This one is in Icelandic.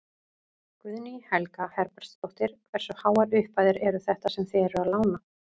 Guðný Helga Herbertsdóttir: Hversu háar upphæðir eru þetta sem þið eruð að lána?